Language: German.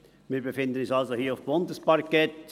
Wir befinden uns hier also auf Bundesparkett.